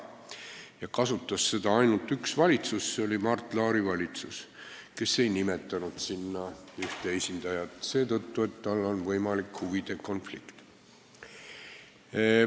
Ja seda võimalust kasutas ainult üks valitsus: Mart Laari valitsus, kes ei nimetanud sinna nõukogusse oma esindajat seetõttu, et kõne alla tuli huvide konflikt.